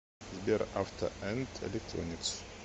сбер авто энд электроникс